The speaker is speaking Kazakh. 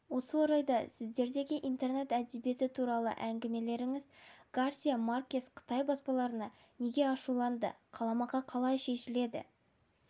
осы орайда сіздердегі интернет әдебиеті туралы әңгімелесеңіз гарсия маркес қытай баспаларына неге ашуланды қаламақы қалай шешіледі